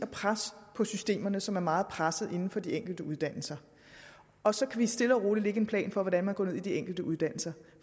pres på systemerne som er meget pressede inden for de enkelte uddannelser og så kan vi stille og roligt lægge en plan for hvordan man går ned i de enkelte uddannelser